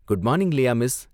Good morning, Leah miss!